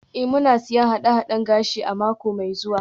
Ee, muna siyan haɗe-haɗen gashi a mako mai zuwa.